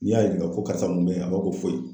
N'i y'a yinika ko karisa mun bɛ yen? A b'a fɔ ko foyi.